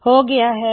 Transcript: ਹੋ ਗਇਆ ਹੈ